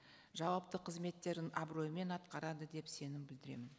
жауапты қызметтерін абыроймен атқарады деп сенім білдіремін